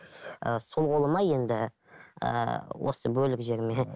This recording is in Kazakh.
ыыы сол қолыма енді ыыы осы бөлік жеріме